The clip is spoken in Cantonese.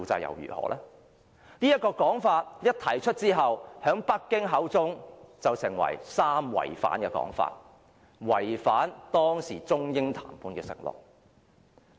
這個說法一提出後，在北京口中便成為"三違反"，被指違反當時中英談判的承諾。